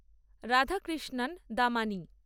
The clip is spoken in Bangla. রাধাকৃষ্ণান দামানি